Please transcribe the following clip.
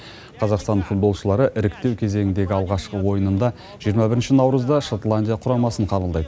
қазақстан футболшылары іріктеу кезеңіндегі алғашқы ойынында жиырма бірінші наурызда шотландия құрамасын қабылдайды